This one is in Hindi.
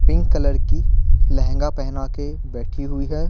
पिंक कलर की लहंगा पहना के बैठी हुई है।